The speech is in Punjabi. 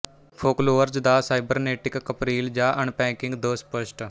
ਫੋਕਲੋਅਰਜ਼ ਦਾ ਸਾਈਬਰਨੇਟਿਕ ਕਪਰੀਲ ਜਾਂ ਅਨਪੈਕਿੰਗ ਦ ਸਪਸ਼ਟ